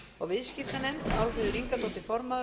viðskiptanefnd álfheiður ingadóttir formaður